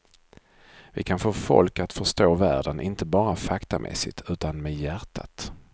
Vi kan få folk att förstå världen inte bara faktamässigt, utan med hjärtat.